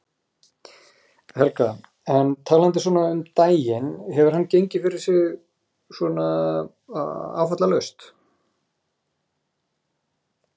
Helga: En talandi svona um daginn, hefur hann gengið fyrir sig svona áfallalaust?